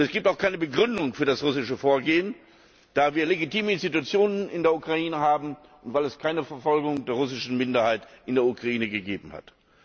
Es gibt auch keine Begründung für das russische Vorgehen, da wir legitime Institutionen in der Ukraine haben, und weil es keine Verfolgung der russischen Minderheit in der Ukraine gegeben hat.